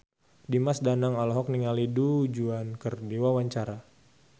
Dimas Danang olohok ningali Du Juan keur diwawancara